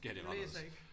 Du læser ikke